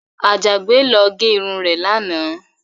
Àjàgbé lọ gẹ irun rẹ̀ lánàá.